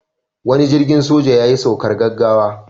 Wani jirgin soja yayi saukar gaggawa.